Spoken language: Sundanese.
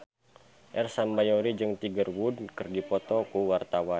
Ersa Mayori jeung Tiger Wood keur dipoto ku wartawan